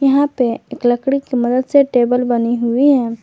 यहां पे एक लकड़ी की मदद से टेबल बनी हुई है।